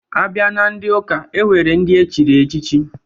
A bịa na ndị ụka, e nwere ndị echiri echichi.